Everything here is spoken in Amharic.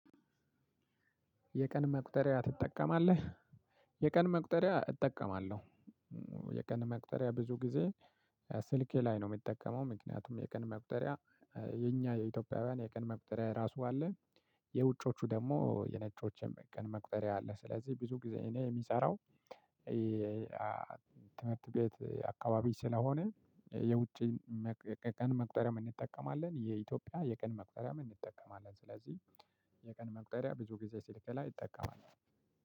የቀን መቁጠሪያ ትጠቀማለህ? የቀን መቁጠሪያ እጠቀማለሁ። የቀን መቁጠሪያ ብዙ ጊዜ ስልኬ ላይ ነው የምጠቀመው ምክንያቱም የቀን መቁጠሪያ። የኛ የኢትዮጵያውያን የቀን መቁጠሪያ ራሱ አለ። የውጮቹ ደግሞ የነጮችን ቀን መቁጠሪያ አለ ስለዚህ ብዙ ጊዜ የሚሰራው። ትምህርት ቤት አካባቢ ስለሆነ የውጪ ቀን መቁጠሪያም እንጠቀማለን የኢትዮጵያ የቀን መቁጠሪያም እንጠቀማለን ስለዚህ። የቀን መቁጠሪያ ብዙ ጊዜ ስልኬ ላይ እጠቀማለሁ።